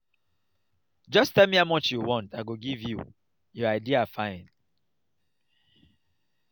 just tell me how much you want i go give you your idea fine